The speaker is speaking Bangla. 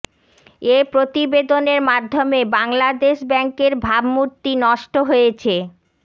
এ প্রতিবেদনের মাধ্যমে বাংলাদেশ ব্যাংকের ভাবমূর্তি নষ্ট হয়েছে